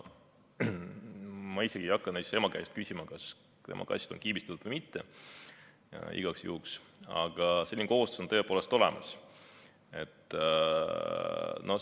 Ma isegi ei hakka näiteks ema käest küsima, kas tema kass on kiibistatud või mitte, igaks juhuks, aga selline kohustus on tõepoolest olemas.